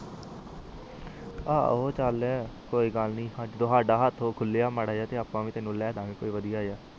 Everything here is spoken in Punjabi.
ਆਹੋ ਚਾਲ ਕੋਈ ਗਲਣੀ ਜਦੋ ਸਦਾ ਵੀ ਹੇਠ ਖੁਲਿਆ ਮਾਰਾ ਜਾ ਆਪ ਵੀ ਤੈਨੂੰ ਲੈ ਦਾ ਗਏ ਵਧੀਆ ਜਾ